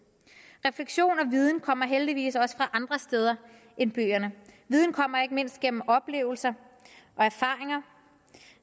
refleksion og viden kommer heldigvis også fra andre steder end bøgerne viden kommer ikke mindst gennem oplevelser erfaringer